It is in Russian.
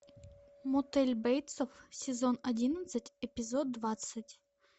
мотель бейтсов сезон одиннадцать эпизод двадцать